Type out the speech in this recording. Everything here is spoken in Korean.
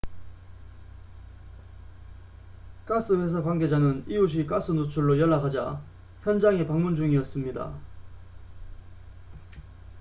가스 회사 관계자는 이웃이 가스 누출로 연락하자 현장에 방문 중이었습니다